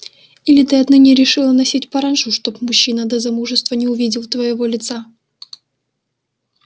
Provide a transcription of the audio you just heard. или ты отныне решила носить паранджу чтобы мужчина до замужества не увидел твоего лица